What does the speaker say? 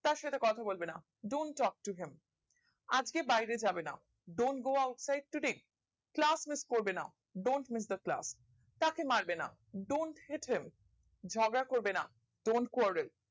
তার সাথে কথা বলবে না don't talk to him আজকে বাইরে যাবে না don't go outside to him class miss করবে না don't miss the class তাকে মারবে না don't hate him ঝগড়া করবে না don't quarrel